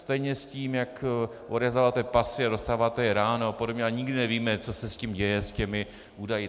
Stejně s tím, jak odevzdáváte pasy a dostáváte je ráno a podobně a nikdy nevíme, co se s tím děje, s těmi údaji.